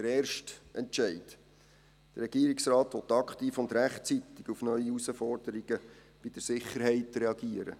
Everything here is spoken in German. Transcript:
Der erste Entscheid: Der Regierungsrat will aktiv und rechtzeitig auf neue Herausforderungen bei der Sicherheit reagieren.